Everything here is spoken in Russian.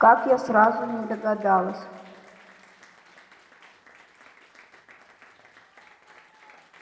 как я сразу не догадалась